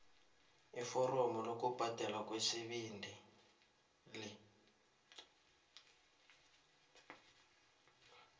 iforomo lokubhadelwa kwesibili